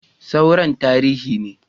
Sauran tarihi ne